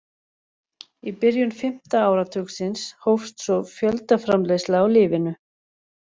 Í byrjun fimmta áratugarins hófst svo fjöldaframleiðsla á lyfinu.